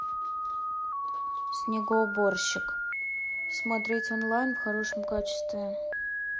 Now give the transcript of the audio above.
снегоуборщик смотреть онлайн в хорошем качестве